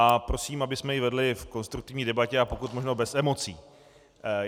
A prosím, abychom ji vedli v konstruktivní debatě a pokud možno bez emocí.